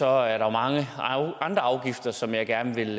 er der mange andre afgifter som jeg gerne ville